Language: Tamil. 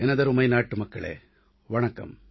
எனதருமை நாட்டுமக்களே வணக்கம்